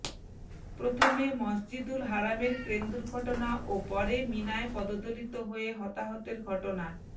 প্রথমে মসজিদুল হারামের ক্রেন দুর্ঘটনা ও পরে মিনায় পদদলিত হয়ে হতাহতের ঘটনার